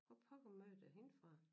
Hvor pokker mødte jeg hende fra